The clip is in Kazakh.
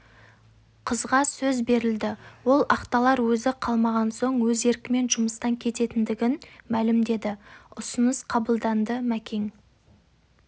қызға сөз берілді ол ақталар өзі қалмаған соң өз еркімен жұмыстан кететіндігін мәлімдеді ұсыныс қабылданды мәкең